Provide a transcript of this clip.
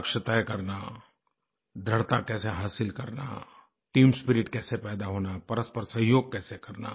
लक्ष्य तय करना दृढ़ता कैसे हासिल करना टीम स्पिरिट कैसे पैदा होना परस्पर सहयोग कैसे करना